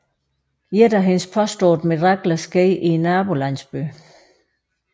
Et af hendes påståede mirakler skete i nabolandsbyen